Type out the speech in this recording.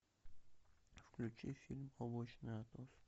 включи фильм облачный атлас